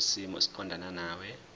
kwisimo esiqondena nawe